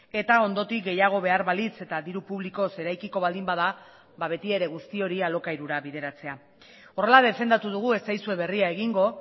eta ondotik gehiago behar balitz eta diru publikoz eraikiko baldin bada beti ere guzti hori alokairura bideratzea horrela defendatu dugu ez zaizue berria egingo